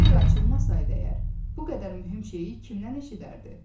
Sirr açılmasaydı əgər, bu qədər mühüm şeyi kimdən eşidərdi?